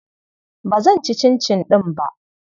Ba zan ci cincin ɗin ba.